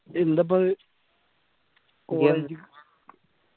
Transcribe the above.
എന്താപ്പൊ അത്